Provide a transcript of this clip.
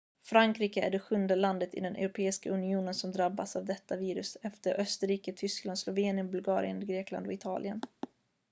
frankrike är det sjunde landet i den europeiska unionen som drabbas av detta virus efter österrike tyskland slovenien bulgarien grekland och italien